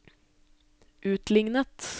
utlignet